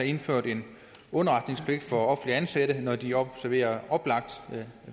indført en underretningspligt for offentligt ansatte når de observerer oplagt